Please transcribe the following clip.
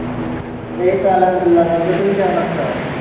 এইতো আলহামদুলিল্লাহ, বন্ধু তুমি কেমন আছো?